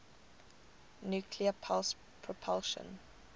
nuclear pulse propulsion